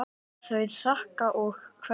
Þau þakka og kveðja.